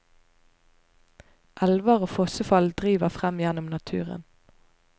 Elver og fossefall driver frem gjennom naturen.